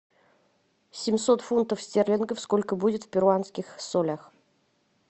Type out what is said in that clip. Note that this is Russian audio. семьсот фунтов стерлингов сколько будет в перуанских солях